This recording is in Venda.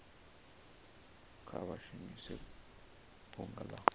kha vha shumise bunga la